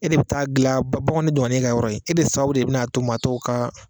E de bɛ taa dilan, bagan ne donna ne ka yɔrɔ ye, e de sababu de bɛ na to maatɔ ka